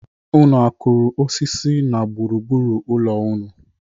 Unu kụrụ osisi na gburu gburu ụlọ unu?